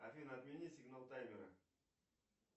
афина отмени сигнал таймера